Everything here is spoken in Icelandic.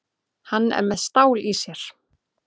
Hann er með stál í sér.